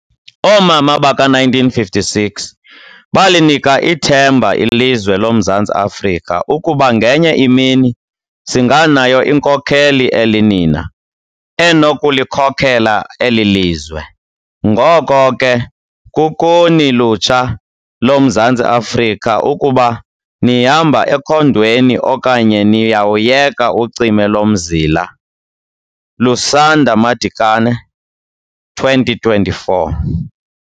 Oomama baka 1956 balinika ithemba ilizwe loMzantsi Afrika ukuba ngenye imini singanayo inkokheli elinina enokulikhokela elilizwe. Ngoko ke kukuni lutsha loMzantsi Afrika ukuba nihamba ekhondweni okanye niyawuyeka ucime lomzila. - Lusanda Madikane, 2024.